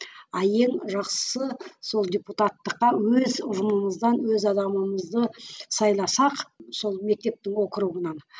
а ең жақсысы сол депутаттыққа өз ұжымымыздан өз адамымызды сайласақ сол мектептің округынан